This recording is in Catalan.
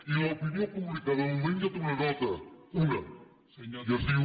i l’opinió pública de moment ja té una nota una i es diu